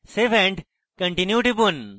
save and continue টিপুন